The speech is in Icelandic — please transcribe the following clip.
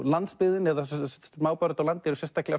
landsbyggðin eða smábæir úti á landi eru sérstaklega